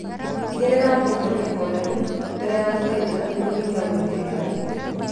Tigirĩra mbũkũ nĩhoreru mbere ya gũthĩnja kũnyihia gwĩthirĩbania